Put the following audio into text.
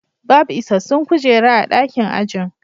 Babu isassun kujera a dakin ajin